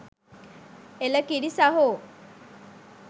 එළ කිරි සහෝ